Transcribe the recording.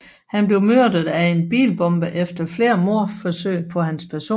Han blev myrdet af en bilbombe efter flere mordforsøg på hans person